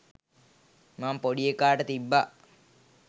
මම පොඩි එකාට තිබ්බා.